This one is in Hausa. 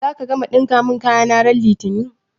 Zaka gama ɗinka mun kayana ran litini?